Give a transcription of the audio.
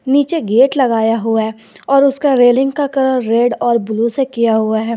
नीचे गेट लगाया हुआ है और उसका रेलिंग का कलर रेड और ब्लू से किया हुआ है।